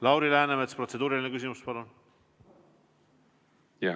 Lauri Läänemets, protseduuriline küsimus, palun!